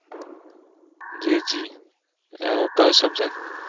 જે જી અ કયું Structure